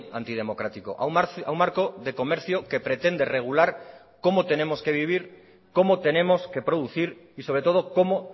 antidemocrático a un marco de comercio que pretende regular cómo tenemos que vivir cómo tenemos que producir y sobre todo cómo